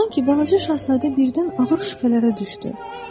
Sanki balaca şahzadə birdən ağır şübhələrə düşdü.